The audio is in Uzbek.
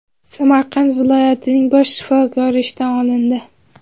Samarqand viloyatining bosh shifokori ishdan olindi.